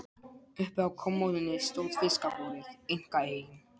Uppi á kommóðunni stóð fiskabúrið, einkaeign